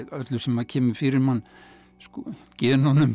öllu sem kemur fyrir mann